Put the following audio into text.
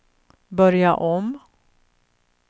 börja om